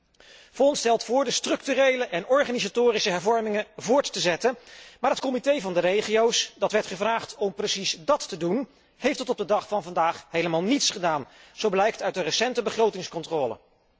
Collega Vaughan stelt voor de structurele en organisatorische hervormingen voort te zetten, maar het Comité van de regio's, dat werd gevraagd om precies dàt te doen, heeft tot op de dag van vandaag helemaal niets gedaan, zo blijkt uit de recente begrotingscontrole.